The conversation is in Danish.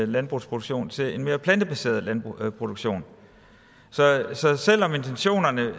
landbrugsproduktion til en mere plantebaseret landbrugsproduktion så selv om intentionerne